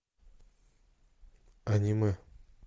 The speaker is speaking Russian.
аниме